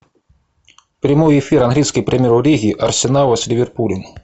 прямой эфир английской премьер лиги арсенала с ливерпулем